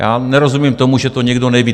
Já nerozumím tomu, že to někdo neví.